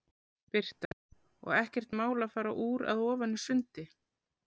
Birta: Og ekkert mál að fara úr að ofan í sundi?